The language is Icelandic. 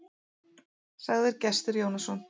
Sagði Gestur Jónsson.